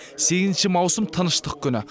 сегізінші маусым тыныштық күні